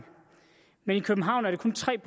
men i københavn er det kun tre